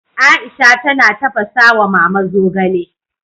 Aisha tana tafasa wa Mama zogale